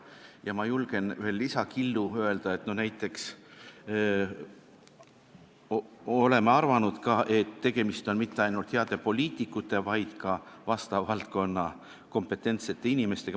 Ja ma julgen ühe lisakillu ka öelda: me arvame, et tegemist pole mitte ainult heade poliitikute, vaid ka selles valdkonnas kompetentsete inimestega.